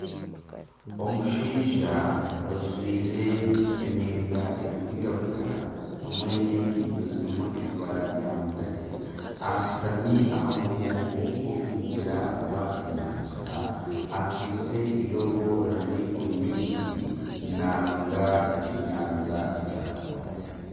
Omushaija ojwire emyenda erikwiragura hamwe n'ekaito ezirim ebibara bya mutare ashutami aha mugongo gw'ogu mugyera oba enyanja akwitse iroobo riiri omu maizi naaronda ekyeyanja eki arakwate.